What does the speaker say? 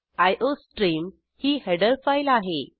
iostream ही header file आहे